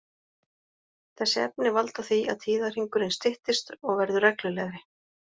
Þessi efni valda því að tíðahringurinn styttist og verður reglulegri.